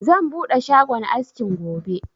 Zan buɗe shagon askin gobe